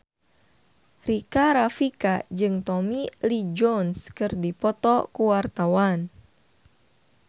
Rika Rafika jeung Tommy Lee Jones keur dipoto ku wartawan